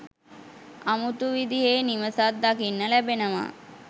අමුතු විදිහේ නිවසක් දකින්න ලැබෙනවා.